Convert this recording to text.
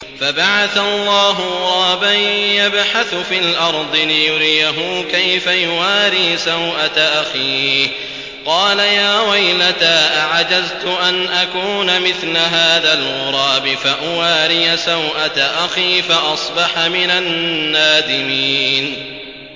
فَبَعَثَ اللَّهُ غُرَابًا يَبْحَثُ فِي الْأَرْضِ لِيُرِيَهُ كَيْفَ يُوَارِي سَوْءَةَ أَخِيهِ ۚ قَالَ يَا وَيْلَتَا أَعَجَزْتُ أَنْ أَكُونَ مِثْلَ هَٰذَا الْغُرَابِ فَأُوَارِيَ سَوْءَةَ أَخِي ۖ فَأَصْبَحَ مِنَ النَّادِمِينَ